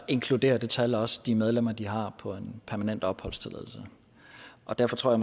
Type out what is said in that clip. inkluderer det tal også de medlemmer de har på en permanent opholdstilladelse derfor tror